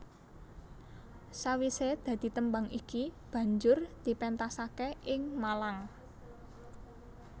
Sawisé dadi tembang iki banjur dipéntasaké ing Malang